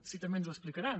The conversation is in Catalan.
si també ens ho explicaran